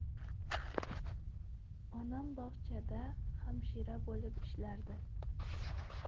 Onam bog‘chada hamshira bo‘lib ishlardi.